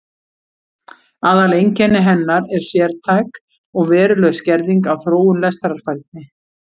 Aðaleinkenni hennar er sértæk og veruleg skerðing á þróun lestrarfærni.